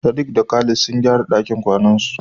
Sadiq da Khalid sun gyara dakin kwanansu.